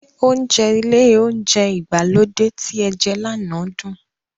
Ṣé oúnjẹ ilé oúnjẹ ìgbàlódé tí ẹ jẹ lànà dùn?